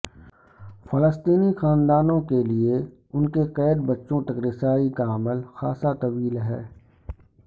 فلسطینی خاندانوں کے لیے ان کے قید بچوں تک رسائی کا عمل خاصا طویل ہے